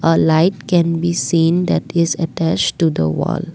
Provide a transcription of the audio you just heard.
a light can be seen that is attach to the wall.